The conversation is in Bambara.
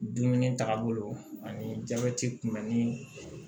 Dumuni taaga bolo ani jabɛti kunbɛnni